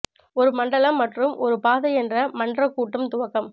ஒரு மண்டலம் மற்றும் ஒரு பாதை என்ற மன்றக் கூட்டம் துவக்கம்